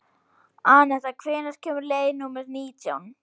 Anetta, hvenær kemur leið númer nítján?